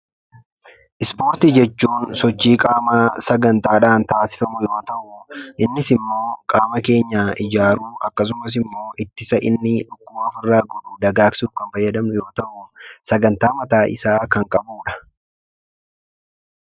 Ispoortii jechuun sochii qaamaa sagantaadhaan taasifamu yoo ta'u, innis immoo qaama keenya ijaaruu akkasumas immoo ittisa inni qaama keenya dagaagsuuf fayyadamnu yoo ta'u sagantaa mataa isaa kan qabudha.